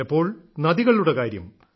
ചിലപ്പോൾ നദികളുടെ കാര്യം